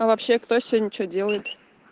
а вообще кто сегодня что делает